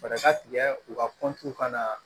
Fɛɛrɛ ka tigɛ u ka ka na